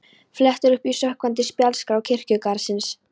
Flettir upp í sökkvandi spjaldskrá kirkjugarðsins